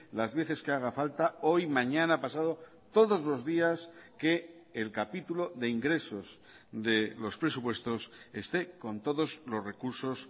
las veces que haga falta hoy mañana pasado todos los días que el capítulo de ingresos de los presupuestos esté con todos los recursos